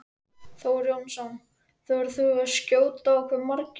Þór Jónsson: Þorir þú að skjóta á hve margir?